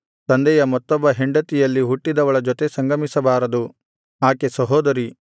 ತಂದೆಯ ಮತ್ತೊಬ್ಬ ಹೆಂಡತಿಯಲ್ಲಿ ಹುಟ್ಟಿದವಳ ಜೊತೆ ಸಂಗಮಿಸಬಾರದು ಆಕೆ ಸಹೋದರಿ